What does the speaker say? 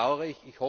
Das bedaure ich!